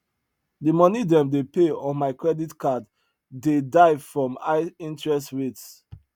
the money them dey pay on my credit card dey die from high interest rates